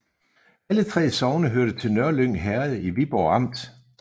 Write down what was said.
Alle 3 sogne hørte til Nørlyng Herred i Viborg Amt